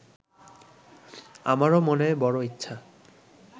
আমারও মনে বড় ইচ্ছা